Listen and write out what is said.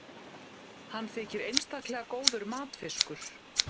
hann þykir einstaklega góður matfiskur